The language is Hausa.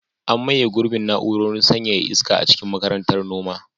An maye gurbin na'urorin sanyaya iska a cikin Makarantar Noma.